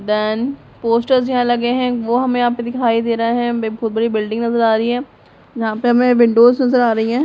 then posters यहाँ लगे हुए हैं वो हमें यहाँ पे दिखाई दे रहा है एक बहुत बड़ी बिल्डिंग नजर आ रही है यहाँ पे हमें विंडोज नज़र आ रही हैं|